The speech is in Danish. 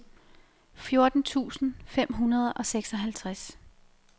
fjorten tusind fem hundrede og seksoghalvtreds